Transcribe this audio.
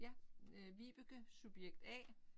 Ja øh Vibeke subjekt A